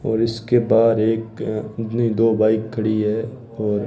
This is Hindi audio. और इसके बाहर एक नहीं दो बाइक खड़ी है और--